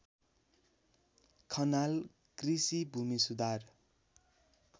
खनाल कृषि भूमिसुधार